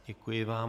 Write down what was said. Děkuji vám.